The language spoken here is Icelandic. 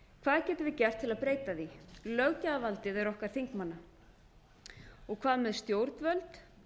hvað getum við gert til að breyta því löggjafarvaldið er okkar þingmanna og hvað með stjórnvöld